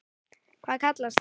Hvað kallast það?